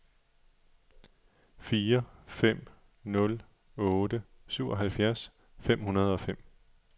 fire fem nul otte syvoghalvfjerds fem hundrede og fem